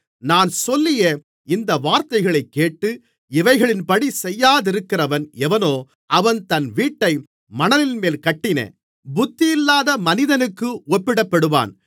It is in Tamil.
நான் சொல்லிய இந்த வார்த்தைகளைக்கேட்டு இவைகளின்படி செய்யாதிருக்கிறவன் எவனோ அவன் தன் வீட்டை மணலின்மேல் கட்டின புத்தியில்லாத மனிதனுக்கு ஒப்பிடப்படுவான்